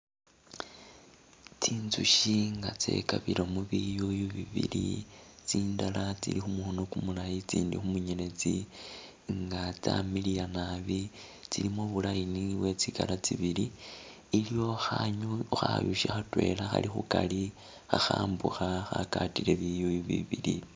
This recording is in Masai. Tsinzusyi nga tsekabilemu biyuyu bibili tsindala tsili khumukhono kumulayi itsindi khu munyeletsi nga tsyamiliya nabi mu bu line bwe tsi colour tsibili, iliwo khanywi-khayushi khatwela khali khukari khakhambukha khagatile biyuyu biibili.